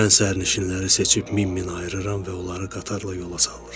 Mən sərnişinləri seçib min-min ayırıram və onları qatarla yola salıram.